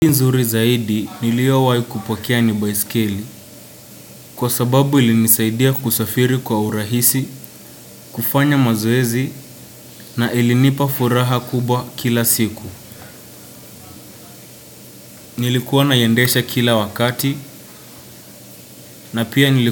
Nzuri zaidi niliowai kupokea ni baiskeli kwa sababu ilinisaidia kusafiri kwa urahisi, kufanya mazoezi na ilinipa furaha kubwa kila siku. Nilikuwa naiendesha kila wakati na pia.